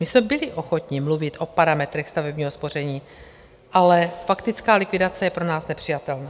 My jsme byli ochotni mluvit o parametrech stavebního spoření, ale faktická likvidace je pro nás nepřijatelná.